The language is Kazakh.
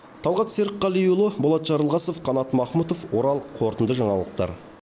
талғат серікқалиұлы болат жарылғасов қанат махмұтов орал қорытынды жаңалықтар